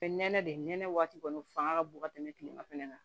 nɛnɛ de nɛnɛ waati kɔni fanga ka bon ka tɛmɛ kilema fɛnɛ kan